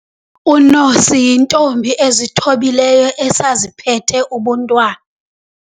Unosi yintombi ezithobileyo esaziphethe ubuntwana.